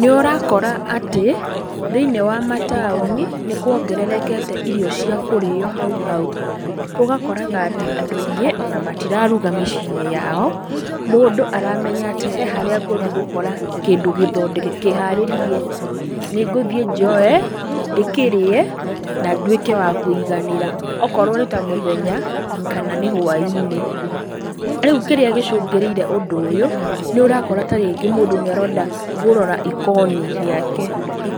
Nĩũrakora atĩ, thĩ-inĩ wa mataũni, nĩkuongererekete irio cia kũrĩo hau hau, ũgakoraga atĩ, andũ aingĩ ona matiraruga mĩcii-inĩ yao, mũndũ aramenya atĩ he harĩa ngũthi gũkora kĩndũ gĩthondeke, kĩharĩrie, nĩngũthi njoe, ndĩkĩrĩe, na ndwíke wa kũiganĩra, okorwo nĩta mũthenya, kana nĩ hwa-inĩ, rĩu kĩrĩa gĩcũngĩrĩire ũndũ ũyũ, nĩũrakora tarĩngĩ mũndũ nĩarenda gũrora ikoni rĩake,